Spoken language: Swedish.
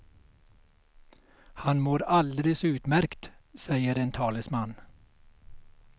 Han mår alldeles utmärkt, säger en talesman.